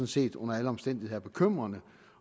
set under alle omstændigheder er bekymrende